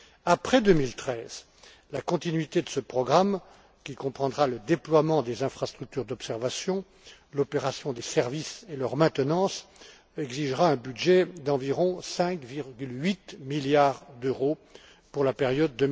Après 2013, la continuité de ce programme, qui comprendra le déploiement des infrastructures d'observation, le fonctionnement des services et leur maintenance, exigera un budget d'environ 5,8 milliards d'euros pour la période